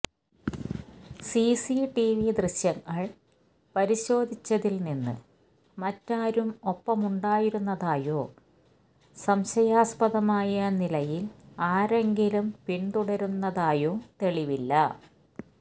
CCTV ദൃശ്യങ്ങള് പരിശോധിച്ചതില്നിന്ന് മറ്റാരും ഒപ്പമുണ്ടായിരുന്നതായോ സംശയാസ്പദമായ നിലയില് ആരെങ്കിലും പിന്തുടര്ന്നിരുന്നതായോ തെളിവില്ല